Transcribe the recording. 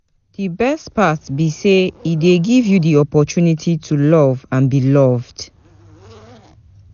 You fit tell me wetin be di best part of being parent?